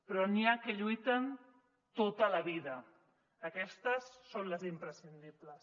però n’hi ha que lluiten tota la vida aquestes són les imprescindibles